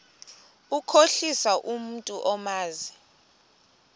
ukukhohlisa umntu omazi